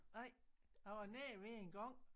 Nej jeg var nær ved engang